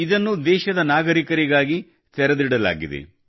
ಇದನ್ನು ದೇಶದ ನಾಗರಿಕರಿಗಾಗಿ ತೆರೆದಿಡಲಾಗಿದೆ